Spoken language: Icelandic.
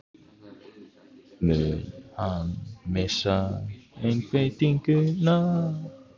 Mun hann missa einbeitinguna?